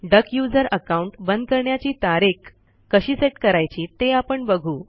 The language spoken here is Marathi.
डक यूझर अकाऊंट बंद करण्याची तारीख कशी सेट करायची ते आपण बघू